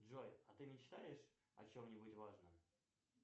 джой а ты мечтаешь о чем нибудь важном